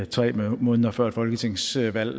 tre måneder før et folketingsvalg